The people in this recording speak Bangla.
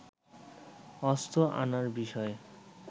অস্ত্র আনার বিষয়ে